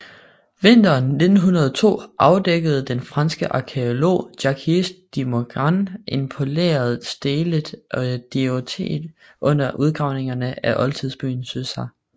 Vinteren 1902 afdækkede den franske arkæolog Jacques de Morgan en poleret stele af diorit under udgravningerne af oldtidsbyen Susa